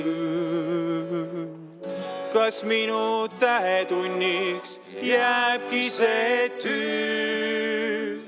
Kas minu tähetunniks jääbki see etüüd?